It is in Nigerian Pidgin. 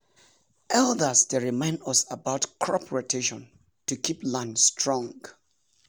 elders dey remind us about crop rotation to keep land strong.